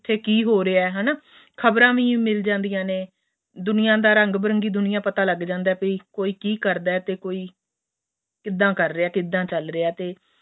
ਕਿਥੇ ਕਿ ਹੋ ਰਿਹਾ ਏ ਹੈਨਾ ਖਬਰਾਂ ਵੀ ਮਿਲ ਜਾਦੀਆਂ ਨੇ ਦੁਨੀਆਂ ਦੀ ਰੰਗ ਬਰੰਗੀ ਦੁਨੀਆਂ ਦਾ ਪਤਾ ਲੱਗ ਜਾਂਦਾ ਏ ਵੀ ਕੋਈ ਕਿ ਕਰਦਾ ਤੇ ਕੋਈ ਕਿੱਧਾ ਕਰ ਰਿਹਾ ਕਿੱਧਾ ਚੱਲ ਰਿਹਾ ਤੇ